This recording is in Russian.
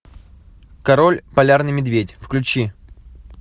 король полярный медведь включи